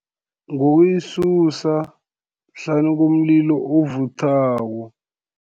Ngokuyisusa, hlanu komlilo ovuthako.